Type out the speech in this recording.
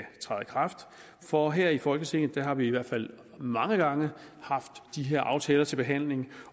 kraft for her i folketinget har vi i hvert fald mange gange haft de her aftaler til behandling